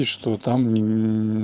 и что там ни